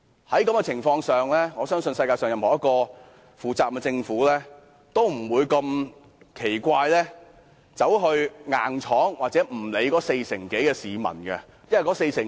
在這情況下，我相信任何一個負責任的政府，都不會強硬地不理會四成多市民的反對意見。